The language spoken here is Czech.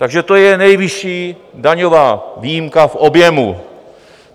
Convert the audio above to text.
Takže to je nejvyšší daňová výjimka v objemu.